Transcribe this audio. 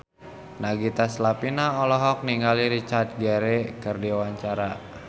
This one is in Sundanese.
Nagita Slavina olohok ningali Richard Gere keur diwawancara